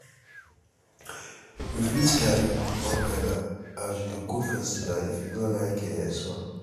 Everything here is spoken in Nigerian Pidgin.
you fit carry umbrella as we dey go festival if you no um like sun.